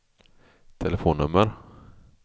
telefonnummer